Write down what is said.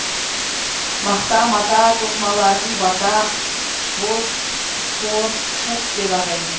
мақта мата тоқымаларын бата боз тор шыт деп атайтын